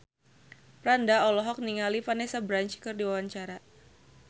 Franda olohok ningali Vanessa Branch keur diwawancara